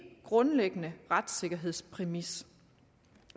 grundlæggende retssikkerhedspræmis